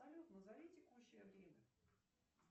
салют назови текущее время